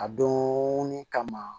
A donni kama